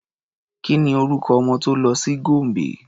Ki ni orúkọ ọmọ tó lọ sí Gombe?